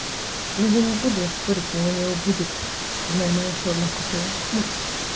ну я не буду спорить с меня не убудет знай моя шаурма вкуснее мур